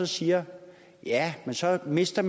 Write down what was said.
siger at man så mister